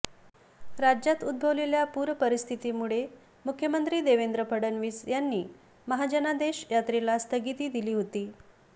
राज्यात उद्भवलेल्या पूरस्थितीमुळे मुख्यमंत्री देवेंद्र फडणवीस यांनी महाजनादेश यात्रेला स्थगिती दिली होती